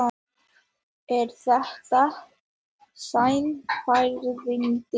Er þetta sannfærandi?